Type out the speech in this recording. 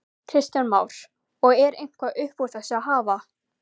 Kristján Már: Og er eitthvað upp úr þessu að hafa?